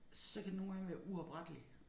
Så kan den nogle gange være uoprettelig